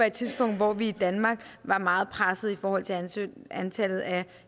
et tidspunkt hvor vi i danmark var meget presset i forhold til antallet af